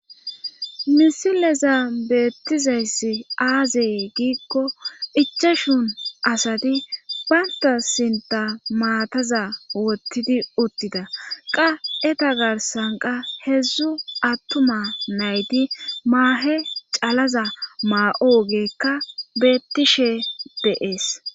misilezan beettizayssi aaze giikko ichashun asati baynta sinta maataza wottidi uttida qa eta garsanqa heedzdzu attuma nayti maahe calaza maa7o geekka beettishe beees